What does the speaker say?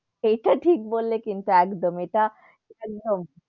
সেটা ঠিক বললে কিন্তু একদম ইটা .